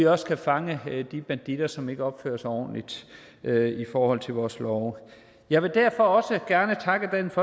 også fange de banditter som ikke opfører sig ordentligt i forhold til vores love jeg vil derfor også gerne takke dansk